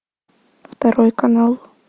второй канал